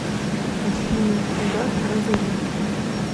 афина угар про военных